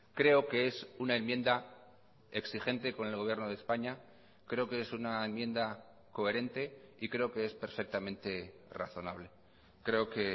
creo que es una enmienda exigente con el gobierno de españa creo que es una enmienda coherente y creo que es perfectamente razonable creo que